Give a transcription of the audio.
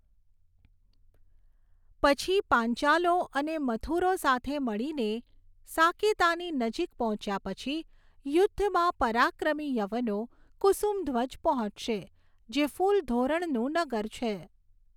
પછી, પાંચાલો અને મથુરો સાથે મળીને સાકેતાની નજીક પહોંચ્યા પછી, યુદ્ધમાં પરાક્રમી યવનો, કુસુમધ્વજ પહોંચશે, જે ફૂલ ધોરણનું નગર છે.